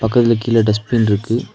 அங்க இருந்து கீழ டஸ்ட்பின் இருக்கு.